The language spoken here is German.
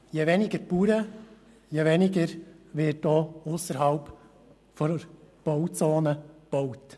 Je weniger Bauern, desto weniger wird auch ausserhalb der Bauzone gebaut.